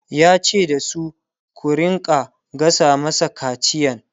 yace da su "ku rinka gasa masa kaciyan!''